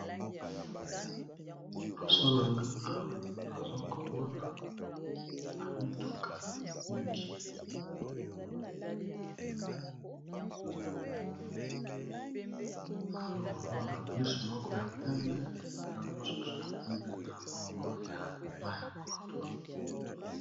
Liboso nanga awa azokomona bamituka mingi, nazokomona bus moko ya pembe, na mosusu ya pembe namoko ya maya pondu.